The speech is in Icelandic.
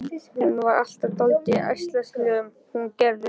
Hún var alltaf dálítið ærslasöm, hún Gerður.